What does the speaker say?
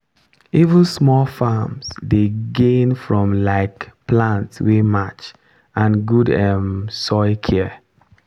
even small farms dey gain from um plant wey match and good um soil care.